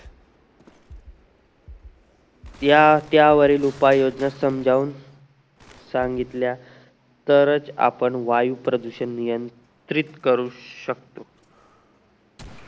त्या त्या वरील उपाय योजना समजावून सांगितल्या तरच आपण वायू प्रदूषण नियंत्रित करू शकतो